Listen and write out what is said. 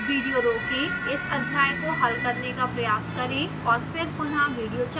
video रोकें इस अध्याय को हल करने का प्रयास करें और फिर पुनः विडियो चलाएं